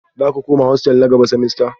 Za ku koma hostel na gaba semester?